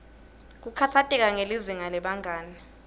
kukhatsateka ngelizinga lebangani